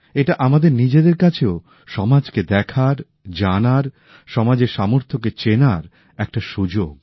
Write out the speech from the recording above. এটা আমাদের নিজেদের কাছেও সমাজকে দেখার জানার সমাজের সামর্থ্যকে চেনার একটা সুযোগ